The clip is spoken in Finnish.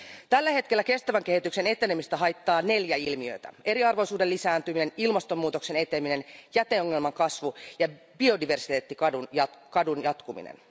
Tällä hetkellä kestävän kehityksen etenemistä haittaa neljä ilmiötä eriarvoisuuden lisääntyminen, ilmastonmuutoksen eteneminen, jäteongelman kasvu ja biodiversiteettikadon jatkuminen.